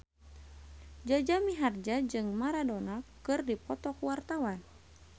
Jaja Mihardja jeung Maradona keur dipoto ku wartawan